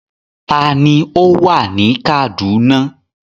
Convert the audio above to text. Ta ni ó wà ní Kaduna?